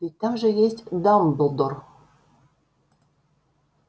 ведь там же есть дамблдор